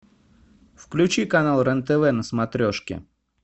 включи канал рен тв на смотрешке